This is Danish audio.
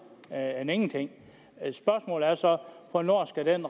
end ingenting spørgsmålet er så hvornår skal den